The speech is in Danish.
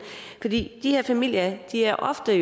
vi for de her familier er ofte